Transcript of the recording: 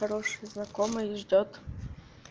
хороший знакомый ждёт